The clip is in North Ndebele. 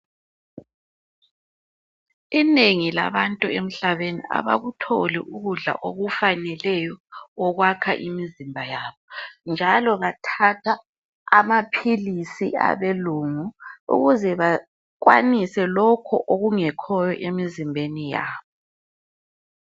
Inengi labantu emhlabeni abakutholi ukudla okufaneleyo okwakha imizimba yabo njalo bathatha amaphilisi abelungu ukuze bakwanise lokhu okungekhoyo emizimbeni yabo.